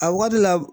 A waati la